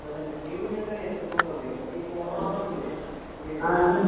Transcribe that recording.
അച്ഛൻവിളിക്കുന്നത് തന്നെ മയിനെന്താന്നറിയോയിക്കുതോന്നണത് നമ്മള്ഈ കൊറോണവന്നില്ലേ ഇവല്?